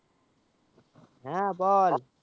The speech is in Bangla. হ্যাঁ বল